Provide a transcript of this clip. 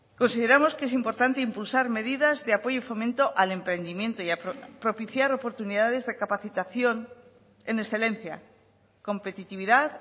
consideramos que es importante impulsar medidas de apoyo y fomento al emprendimiento y propiciar oportunidades de capacitación en excelencia competitividad